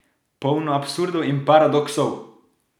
Polno absurdov in paradoksov!